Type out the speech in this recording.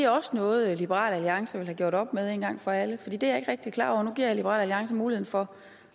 også noget liberal alliance vil have gjort op med en gang for alle for det er jeg ikke rigtig klart over nu giver jeg liberal alliance mulighed for